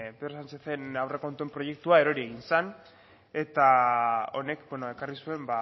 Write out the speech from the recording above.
pedro sánchezen aurrekontu proiektua erori egin zen eta honek ekarri zuen